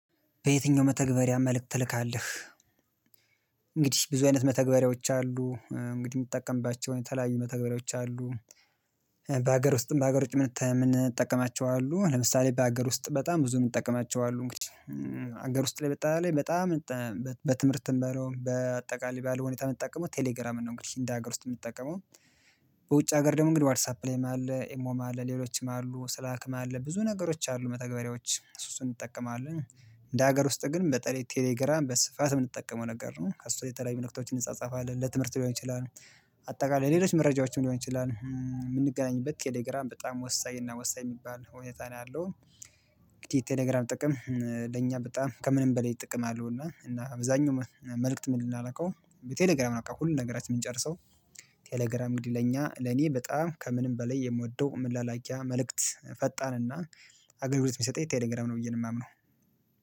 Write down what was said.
በየትኛው መተግበሪያ መልእክት ትልካለህ? እንግዲህ ብዙ አይነት መተግበሪያዎች አሉ እንግዲህ የምትጠቀምባቸውን የተለያዩ መተግበሪያዎች አሉ። በሀገር ውስጥም በሀገር ውጭ ምንጠቀማቸው አሉ ለምሳሌ በሀገር ውስጥ በጣም ብዙ እምንጠቀማቸው አሉ እንግዲህ ሀገር ውስጥ ላይ በጣም በጣም በትምህርት በለው በአጠቃላይ ባለው ሁኔታ የምትጠቀመው ቴሌግራምን ነው። እንግዲህ እንደ ሀገር ውስጥ የምትጠቀመው በውጭ ሀገር ደግሞ እንግዲህ ዋትሳፕም ላይ አለ ኤሞም አለ ሌሎችም አሉ ስለ ላክም አለ ብዙ ነገሮች አሉ መተግበሪያዎች እሱ እሱን እንጠቀማለን እንደ ሀገር ውስጥ ግን በተለይ ቴሌግራም በስፋት የምንጠቀመው ነገር ነው ከእሱ የተለያየ መልእክቶችን እንጻጻፋለን ለትምህርት ሊሆን ይችላል። አጠቃላይ ሌሎች መረጃዎችን ሊሆን ይችላል የምንገናኝበት ቴሌግራም በጣም ወሳኝ እና ወሳኝ የሚባል ሁኔታ ነው ያለው። እንግዲህ ቴሌግራም ጥቅም ለኛ በጣም ከምንም በሌላ ጥቅም አለው እና አብዛኛው መልእክት የምንላላከው ቴሌግራም ነው። በቃ ሁሉን ነገራችን የምንጨርሰው። ቴሌግራም እንግዲህ ለኛ ለኔ በጣም ከምንም በላይ የምወደው ምላላኪያ መልእክት ፈጣንና አገልግሎት የሚሰጠኝ ቴሌግራም ነው ብዬ ነው የማምነው